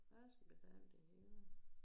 Jeg skulle betale det hele